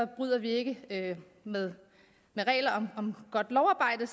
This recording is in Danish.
bryder vi ikke med reglerne om godt lovarbejde